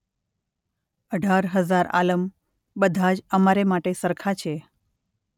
અઢાર હઝાર આલમ બધા જ અમારા માટે સરખાં છે.